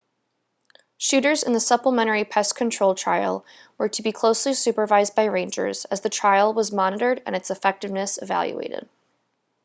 shooters in the supplementary pest control trial were to be closely supervised by rangers as the trial was monitored and its effectiveness evaluated